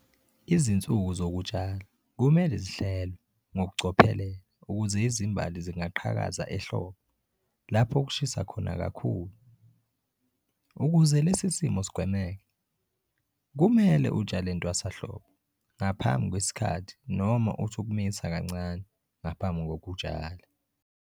Izinsuku zokutshala kumele zihlelwe ngokucophelela ukuze izimbali zingaqhakazi ehlobo lapho kushisa khona kakhulu. Ukuze lesi simo sigwemeke, kumele utshale entwasahlobo ngaphambi kwesikhathi noma uthi ukumisa kancane ngaphambi kokutshala.